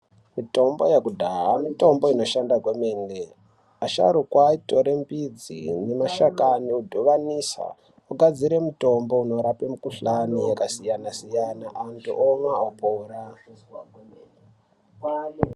Mitombo yekudhaya mitombo inoshanda kwemene asharuka aitore midzi nemashani odhuvanisa ogadzire mutombo unorape mikhuhlani yakasiyana siyana antu omwa opora.